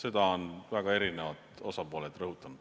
Seda on eri osapooled rõhutanud.